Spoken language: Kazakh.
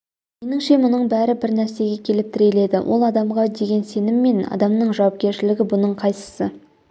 меніңше мұның бәрі бір нәрсеге келіп тіреледі ол адамға деген сенім мен адамның жауапкершілігі бұның қайсысы